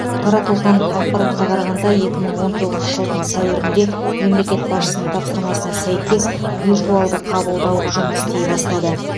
таратылған ақпаратқа қарағанда екі мың он тоғызыншы жылдың сәуірінде мемлекет басшысының тапсырмасына сәйкес виртуалды қабылдау жұмыс істей бастады